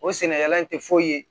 O sɛnɛkɛla in tɛ foyi ye